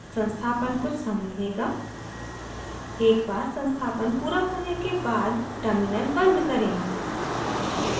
संस्थापन कुछ समय लेगा एक बार संस्थापन पूरा होने के बाद terminal बंद करें